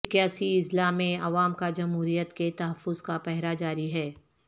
اکیاسی اضلاع میں عوام کا جمہوریت کے تحفظ کا پہرہ جاری ہے